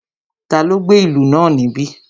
Taló gbé ìlú náà níbí?